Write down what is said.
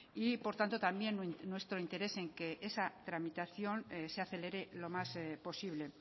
y por tanto también nuestro interés en que esa tramitación se acelere lo más posible